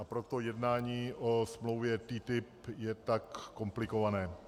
A proto jednání o smlouvě TTIP je tak komplikované.